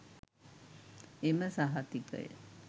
එම සහතිකය